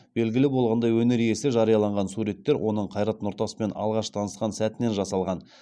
белгілі болғандай өнер иесі жарияланған суреттер оның қайрат нұртаспен алғаш танысқан сәтінен жасалған